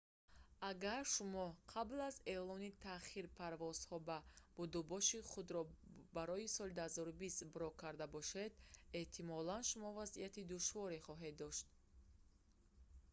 агар шумо қабл аз эълони таъхир парвозҳо ва будубоши худро барои соли 2020 брок карда бошед эҳтимолан шумо вазъияти душворе хоҳед дошт